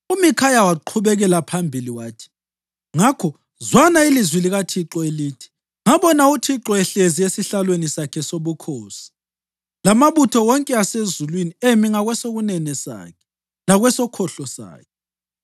UMikhaya waqhubekela phambili wathi, “Ngakho zwana ilizwi likaThixo elithi, Ngabona uThixo ehlezi esihlalweni sakhe sobukhosi lamabutho wonke asezulwini emi ngakwesokunene sakhe lakwesokhohlo sakhe.